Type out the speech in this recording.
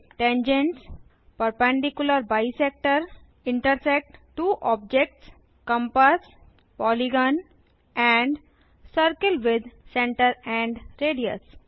tangents perpendicular bisector intersect two objects compass polygon circle with centre and radius